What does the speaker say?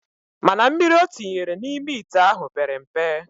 Mana mmiri otinyere na ime ite ahu pere mpe